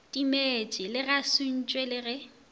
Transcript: timetše a sentšwe le ge